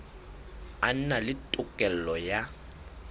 a na le tokelo ya